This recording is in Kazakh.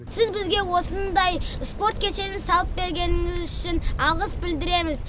сіз бізге осындай спорт кешенін салып бергеніңіз үшін алғыс білдіреміз